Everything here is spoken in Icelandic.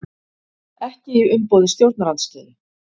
Ekki í umboði stjórnarandstöðu